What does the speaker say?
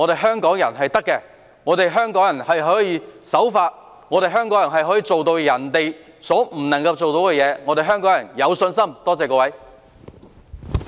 香港人是很棒的，香港人可以守法，可以做到別人做不到的事，我對香港人有信心，多謝各位。